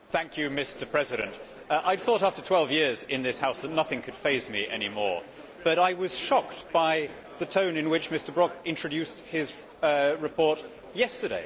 Mr President, I had thought that after 12 years in this House nothing could faze me any more, but I was shocked by the tone in which Mr Brok introduced his report yesterday.